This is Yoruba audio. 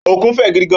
Ókún fë gidi gán